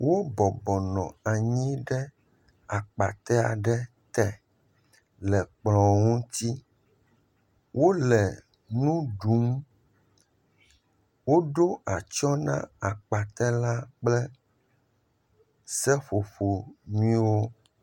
Wobɔbɔnɔ anyi ɖe akpate aɖe te le kplɔ ŋuti, wole nuɖum, woɖo atsyɔ na akpate la kple seƒoƒonyuiewo.